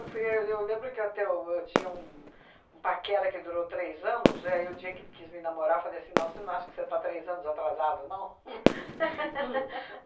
Eu fui e eu lembro que eu até o eu tinha um um paquera que durou três anos, é aí, o dia que ele quis me namorar, eu falei assim, não, você não acha que você está três anos atrasado, não?